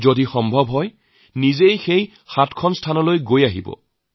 যদি সম্ভৱ হয় সেই সাতটি স্থান যাব পাৰি